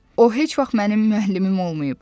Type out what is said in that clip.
O heç vaxt mənim müəllimim olmayıb.